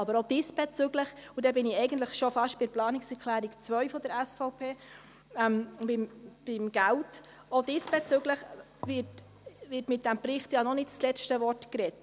Aber auch diesbezüglich wird mit diesem Bericht ja noch nicht das letzte Wort gesprochen, und damit bin ich eigentlich schon fast bei der Planungserklärung 2 der SVP: beim Geld.